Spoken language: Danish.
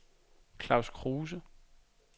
Claus Kruse